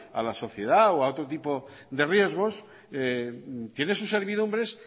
a la sociedad o a otro tipo de riesgos tiene sus servidumbres